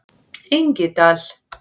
Engidal